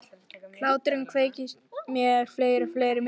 Og hláturinn kveikir með mér fleiri og fleiri myndir.